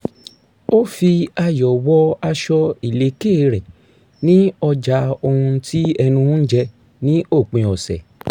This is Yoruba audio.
ó fi ayò̩ wọ aṣọ ìlékè re ní ọjà ohun tí ẹnu ń jẹ ní òpin ọ̀sẹ̀